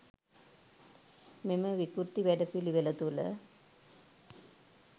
මෙම විකෘති වැඩපිළිවෙළ තුළ